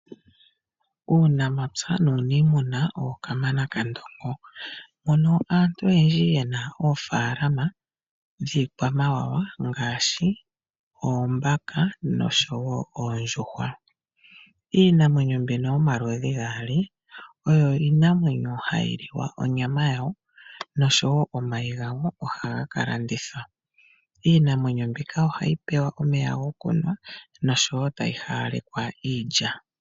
Uunamapya nuuniimuna owo Kamana kaNdongo mono aantu oyendji ye na oofaalama dhiikwamawawa ngaashi oombaka nosho wo oondjuhwa. Iinamwenyo mbino yomaludhi gaali oyo iinamwenyo hayi li wa onyama yawo nosho wo omayi gawo ohaga ka landithwa. Iinamwenyo mbika ohayi pewa omeya gokunwa nosho wo tayi hawalekwa iilya.